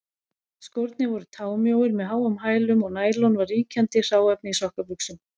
Skórnir voru támjóir með háum hælum, og nælon var ríkjandi hráefni í sokkabuxum.